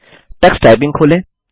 Tux typing खोलें